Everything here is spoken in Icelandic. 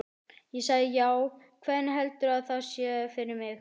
Ég sagði: Já, hvernig heldurðu að það sé fyrir mig?